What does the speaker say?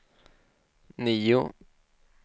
nio